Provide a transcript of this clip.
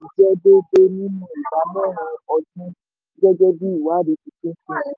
jẹ́ déédéé nínú ìdá mẹ́rin ọdún gẹ́gẹ́ bí ìwádìí tuntun ti fihàn.